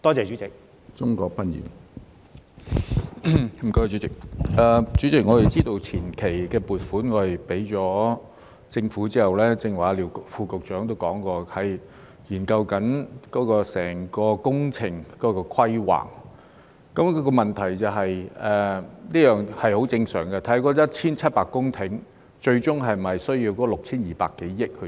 主席，我們知道向政府批出前期撥款後，正如廖副局長剛才也提及，現時正在研究整個工程的規劃，這是十分正常的，研究那1700公頃最終是否需要 6,200 多億元的撥款。